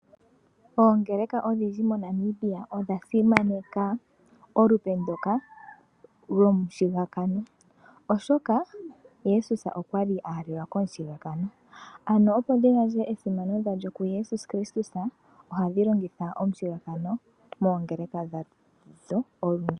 Oongeleka odhindji moNamibia odha simaneka olupe ndoka lyomushigakano, oshoka Jesus okwali aahalelwa komushigakano. Ano opo dhi gandje esimano dhalyo kuJesus Kristus ohadhi longitha omushigakano moongeleka dhadho olundji.